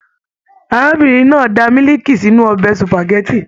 Arábìnrin náà dà miliki sínú ọbẹ supágẹ̀tì.